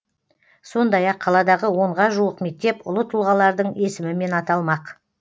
сондай ақ қаладағы онға жуық мектеп ұлы тұлғалардың есімімен аталмақ